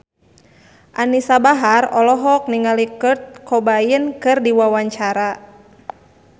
Anisa Bahar olohok ningali Kurt Cobain keur diwawancara